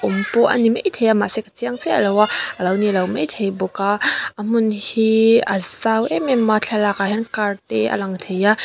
awm pawh a ni maithei a mahse ka chiang chiah lo a a lo nilo maithei bawk a a hmun hi a zau em em a thlalak ah hian car te a lang thei a.